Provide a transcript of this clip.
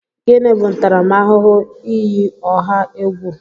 Gịnị bụ ntaramahụhụ iyi ọha egwu?